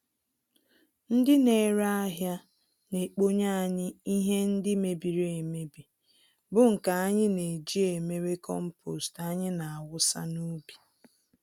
Ndị nere ahịa naekponye anyị ihe ndị mebiri-emebi bụ nke anyị n'eji emere kompost anyị nawụsa n'ubi.